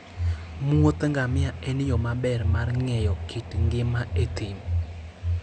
muodh ngamia en yo maber mar ng'eyo kit ngima e thim.